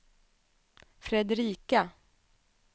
Fredrika